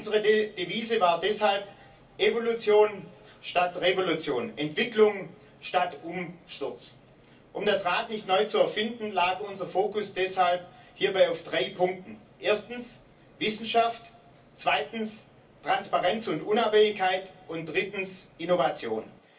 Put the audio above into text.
Unsere Devise war deshalb Evolution statt Revolution, Entwicklung statt Umsturz. Um das Rad nicht neu zu erfinden, lag unser Fokus deshalb hierbei auf drei Punkten erstens Wissenschaft, zweitens Transparenz und Unabhängigkeit und drittens Innovation.